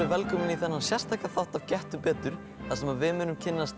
velkomin í þennan sérstaka þátt af Gettu betur þar sem við munum kynnast